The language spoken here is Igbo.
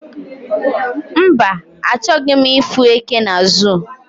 mba, achoghi m ifu eke na zoo